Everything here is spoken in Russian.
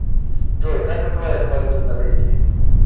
джой как называется валюта в норвегии